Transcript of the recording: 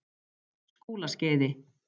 Skúlaskeiði